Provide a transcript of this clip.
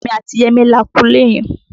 Èmi àti Yẹmí la kunlé yẹn